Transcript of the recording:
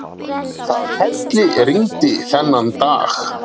Það hellirigndi þennan dag.